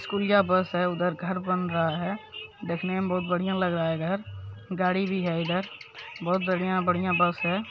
स्कूलिया बस उधर घर बन रहा है देखने में बहुत बढ़िया लग रहा है घर गाड़ी भी है इधर बहुत बढ़िया-बढ़िया बस है।